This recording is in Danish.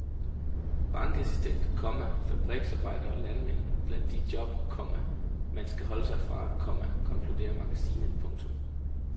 Bankassistent, komma fabriksarbejder og landmand er blandt de job, komma man skal holde sig fra, komma konkluderer magasinet. punktum